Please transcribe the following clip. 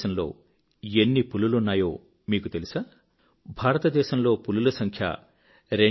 భారతదేశంలో ఎన్ని పులులున్నాయో మీకు తెలుసా భారతదేశంలో పులుల సంఖ్య 2967